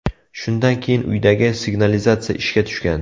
Shundan keyin uydagi signalizatsiya ishga tushgan.